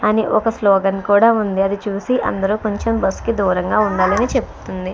అని ఒక స్లోగన్ కూడా ఉంది. అది చూసి అందరూ కొంచెం బస్సు కి దూరంగా ఉండాలని చెప్తుంది.